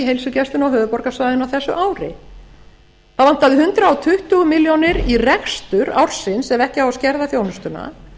heilsugæsluna á höfuðborgarsvæðinu á þessu ári það vantar hundrað tuttugu milljónir í rekstur ársins ef ekki á að skerða þjónustuna